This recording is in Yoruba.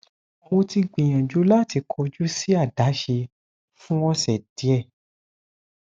mo ti gbiyanju lati kọju si adaṣe fun ọsẹ diẹ